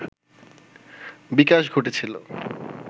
বিকাশ ঘটেছিল